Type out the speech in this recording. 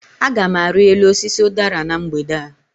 Agam ari elu osisi udara na mgbede a